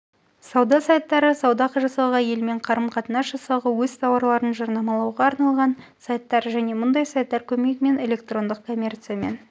сауда сайттары сауда жасауға елмен қарым-қатынас жасауға өз тауарларын жарнамалауға арналған сайттар және мұндай сайттар көмегімен электрондық коммерциямен